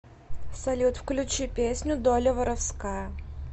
салют включи песню доля воровская